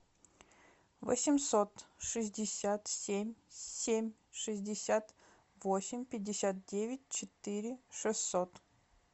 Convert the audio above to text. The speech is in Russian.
восемьсот шестьдесят семь семь шестьдесят восемь пятьдесят девять четыре шестьсот